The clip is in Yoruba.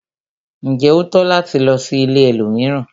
Njé o tọ́ láti lò sí ìlẹ̀ ẹlòmíràn?